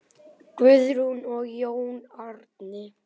Guðrún og Jón Árni.